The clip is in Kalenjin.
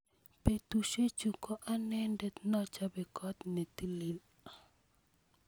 betusiechu ko anendet nechope kot netilil